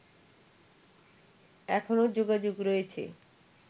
এখনও যোগাযোগ রয়েছে